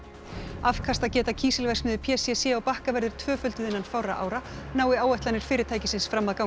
afkastageta kísilverksmiðju p c c á Bakka verður tvöfölduð innan fárra ára nái áætlanir fyrirtækisins fram að ganga